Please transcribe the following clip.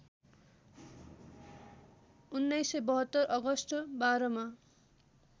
१९७२ August १२ मा